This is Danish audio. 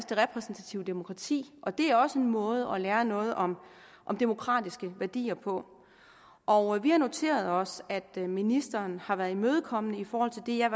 det repræsentative demokrati det er også en måde at lære noget om om demokratiske værdier på og vi har noteret os at ministeren har været imødekommende i forhold til det jeg